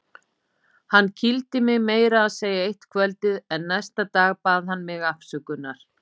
Hann kýldi mig meira að segja eitt kvöldið en næsta dag bað hann mig afsökunar.